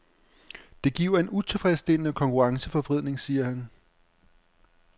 Det giver en utilfredsstillende konkurrenceforvridning, siger han.